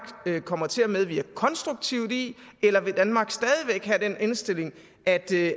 kommer til at medvirke konstruktivt i eller vil danmark stadig væk have den indstilling at det